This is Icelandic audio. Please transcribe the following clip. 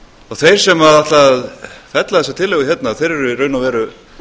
þeir sem ætla að fella þessa tillögu hérna eru í raun og veru